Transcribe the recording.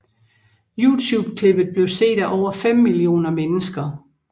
YouTube klippet blev set af over fem millioner mennesker